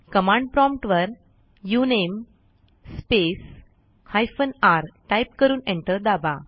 command prompt वर उनमे space hyphen r type करून एंटर दाबा